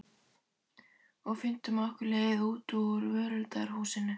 Og fundum okkar leið út úr völundarhúsinu.